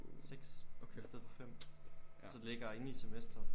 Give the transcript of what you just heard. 6 i stedet for 5 så det ligger inde i semestret